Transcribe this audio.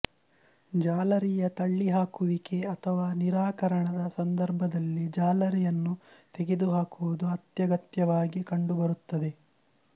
ಜಾಲರಿಯ ತಳ್ಳಿಹಾಕುವಿಕೆ ಅಥವಾ ನಿರಾಕರಣದ ಸಂದರ್ಭದಲ್ಲಿ ಜಾಲರಿಯನ್ನು ತೆಗೆದುಹಾಕುವುದು ಅತ್ಯಗತ್ಯವಾಗಿ ಕಂಡುಬರುತ್ತದೆ